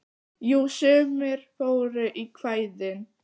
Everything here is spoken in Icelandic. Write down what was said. Jú, sumir fóru í kvæðin.